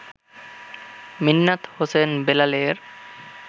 মিন্নাত হোসেন বেলালের